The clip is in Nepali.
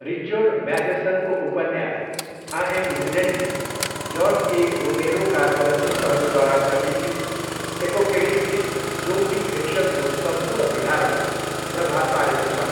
रिचर्ड म्याथेसनको उपन्यास आइ एम लिजेन्डले जर्ज ए रोमेरोका चलचित्रहरूद्वारा प्रतीकित एपोकेलिप्टिक जोम्बी फिक्सनको सम्पूर्ण विधालाई प्रभाव पारेको छ।